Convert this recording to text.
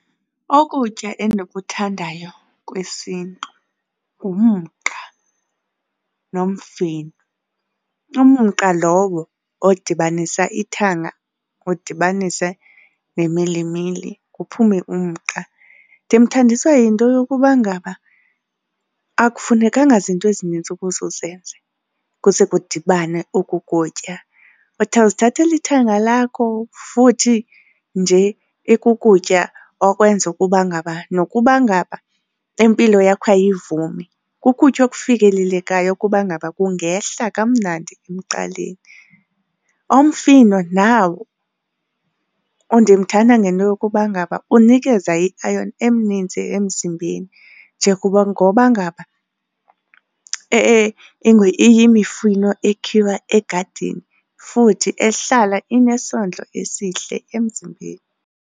Ukutya endikuthandayo kwesiNtu ngumqa nomfino, umqa lowo odibanisa ithanga udibanise nemilimili kuphume umqa. Ndimthandiswa yinto yokuba ngaba akufunekanga zinto ezinintsi ukuze uzenze, kuze kudibane oku kutya. Uzithathela ithanga lakho futhi nje ikukutya okwenza ukuba ngaba nokuba ngaba impilo yakho ayivumi kukutya okufikelelekayo ukuba ngaba kungehla kamnandi emqaleni. Umfino nawo ndimthanda ngento yokuba ngaba unikeza i-iron emnintsi emzimbeni ngoba ngaba iyimifino ekhiwa egadini futhi ehlala inesondlo esihle emzimbeni.